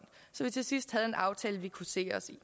så vi til sidst havde en aftale vi kunne se os selv